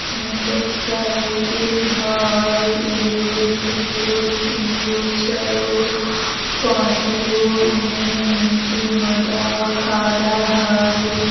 मोटरसाइकिल हई एगो दुगो तीनगो चारगो पाँचगो एने मर्दाबा खड़ा हई।